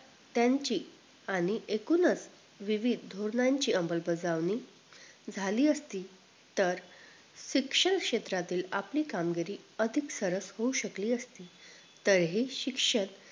त्यांची आणि एकूणच विविध धोरणाची अमलबजावणी झाली असती तर शिक्षण क्षेत्रातील आपली कामगिरी अधिक सरस होऊ शकली असती तर हे शिक्षण